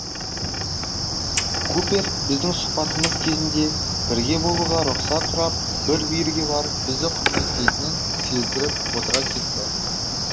купер біздің сұхбатымыз кезінде бірге болуға рұқсат сұрап бір бүйірге барып бізді құрметтейтінін сездіріп отыра кетті